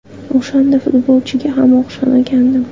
O‘shanda futbolchiga ham o‘xshamagandim.